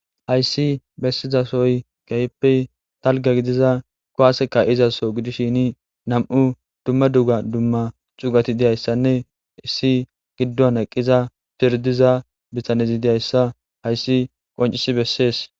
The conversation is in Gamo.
hayssi bessizasoy kehiyppe dalga gidiza kowaase kaizaso gidishini nam7u dumma duga dumma cugati diyayssanne issi giddon eqqiza pirdiza bitanezi diyayssa hayssi qoncisi bessees